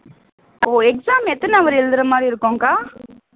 ஓ exam எத்தனை hour எழுதுற மாதிரி இருக்கும்கா